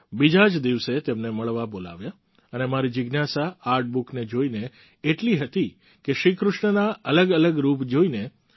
બીજા જ દિવસે તેમને મળવા બોલાવ્યા અને મારી જિજ્ઞાસા આર્ટ બુકને જોઈને એટલી હતી કે શ્રી કૃષ્ણના અલગઅલગ રૂપ જોઈને